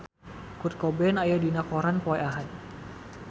Kurt Cobain aya dina koran poe Ahad